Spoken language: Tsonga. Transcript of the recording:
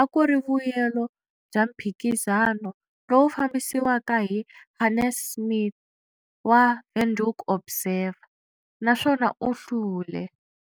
a ku ri vuyelo bya mphikizano lowu fambisiwaka hi Hannes Smith wa"Windhoek Observer", naswona u hlule.